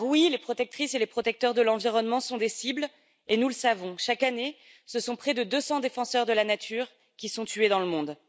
Les protectrices et les protecteurs de l'environnement sont bel et bien des cibles, et nous le savons. Chaque année, ce sont près de 200 défenseurs de la nature qui sont tués dans le monde.